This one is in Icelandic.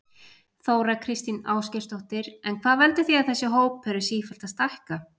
Þóra Kristín Ásgeirsdóttir: En hvað veldur því að þessi hópur er sífellt að stækka?